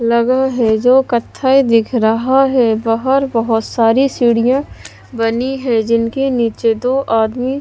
लगा है जो कथाय दिख रहा है बाहर बहोत सारी सीढ़ियां बनी है जिनके नीचे दो आदमी--